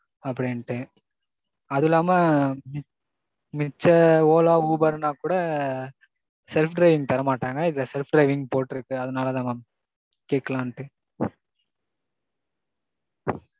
அப்படின்ட்டு, அது இல்லாம மிச்ச Ola Uber னா கூட self driving தர மாட்டாங்க. இதுல self driving போட்டிருக்கு அதனால தான் mam. கேக்கலாண்டு